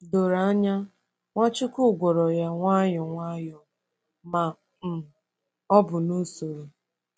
Doro anya, Nwachukwu gwọrọ ya nwayọ nwayọ, ma um ọ bụ n’usoro.